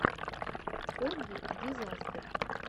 фогги дизастер